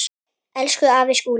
Elsku afi Skúli.